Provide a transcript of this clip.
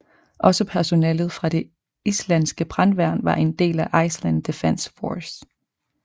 Også personalet fra det islandske brandværn var en del af Iceland Defense Force